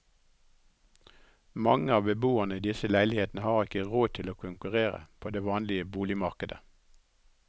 Mange av beboerne i disse leilighetene har ikke råd til å konkurrere på det vanlige boligmarkedet.